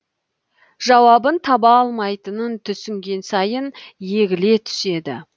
жауабын таба алмайтынын түсінген сайын егіле түседі